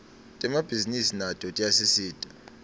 temabhisinisi nato tiyasisita